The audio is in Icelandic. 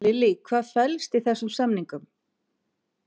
Lillý, hvað felst í þessum samningum?